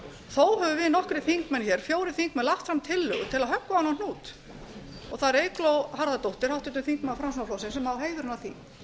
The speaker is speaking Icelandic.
þó höfum við nokkrir þingmenn hér fjórir þingmenn lagt fram tillögu til að höggva á þennan hnút það er eygló harðardóttir háttvirtur þingmaður framsóknarflokksins sem á heiðurinn af því